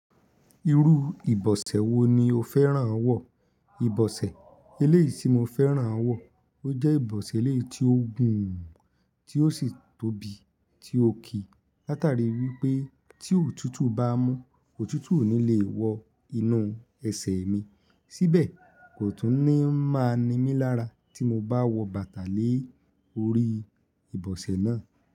Irú ìbọ̀sẹ̀ wo ni o fẹ́ràn wọ̀? Ìbọ̀sẹ̀ eléyìí tí mo fẹ́ràn wọ̀, ó jẹ́ ìbọ̀sẹ̀ eléyìí tí ó gùn, tí ó sì tóbi, tí ó kì látàrí wípé tí òtútù bá mú, òtútù ò ní le wọ inú ẹsẹ̀ mi, síbẹ̀ kò tún ní máa ni mí lára tí mo bá wọ bàtà lé orí ìbọ̀sẹ̀ náà.